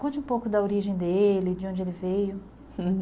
Conte um pouco da origem dele, de onde ele veio